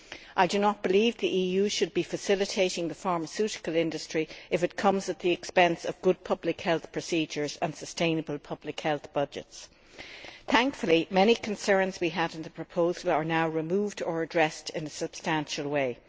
I do not believe the EU should be facilitating the pharmaceutical industry if this comes at the expense of good public health procedures and sustainable public health budgets. Thankfully, many concerns we had on the proposal have now been removed or addressed in a substantial way.